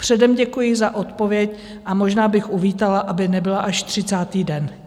Předem děkuji za odpověď a možná bych uvítala, aby nebyla až 30. den.